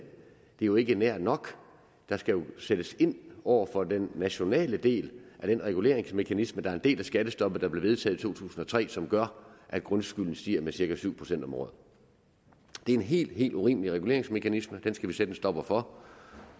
er jo ikke nær nok der skal jo sættes ind over for den nationale del af den reguleringsmekanisme der er en del af skattestoppet der blev vedtaget i to tusind og tre og som gør at grundskylden stiger med cirka syv procent om året det er en helt helt urimelig reguleringsmekanisme den skal vi sætte en stopper for og